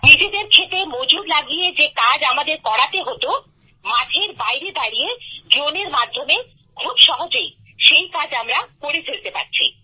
নিজেদের ক্ষেতে মজুর লাগিয়ে যে কাজ আমাদের করাতে হতো মাঠের বাইরে দাঁড়িয়ে ড্রোনের মাধ্যমে খুব সহজেই সেই কাজ আমরা করে ফেলতে পারছি